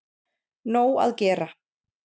Nóg að gera.